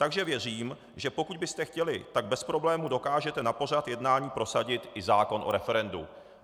Takže věřím, že pokud byste chtěli, tak bez problému dokážete na pořad jednání prosadit i zákon o referendu.